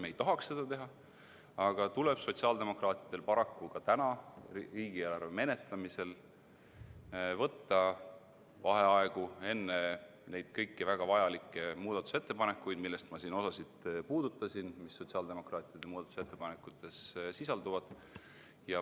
Me ei tahaks seda teha, aga sotsiaaldemokraatidel tuleb paraku ka täna riigieelarve menetlemisel võtta vaheaegu enne nende kõikide väga vajalike muudatusettepanekute hääletamist, millest ma siin osa puudutasin.